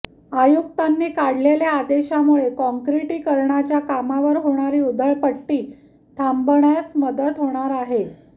आयुक्तांनी काढलेल्या आदेशामुळे काँक्रीटीकरणाच्या कामावर होणारी उधळपट्टी थांबण्यास मदत होणार आहे